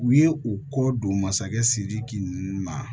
U ye u kɔ don masakɛ sidiki ma